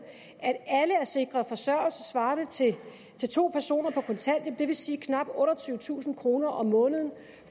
at alle er sikret forsørgelse svarende til to personer på kontanthjælp det vil sige knap otteogtyvetusind kroner om måneden